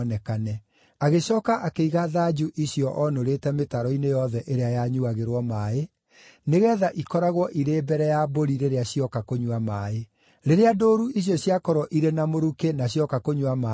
Agĩcooka akĩiga thanju icio oonũrĩte mĩtaro-inĩ yothe ĩrĩa yanyuuagĩrwo maaĩ, nĩgeetha ikoragwo irĩ mbere ya mbũri rĩrĩa cioka kũnyua maaĩ. Rĩrĩa ndũũru icio ciakorwo irĩ na mũrukĩ na cioka kũnyua maaĩ-rĩ,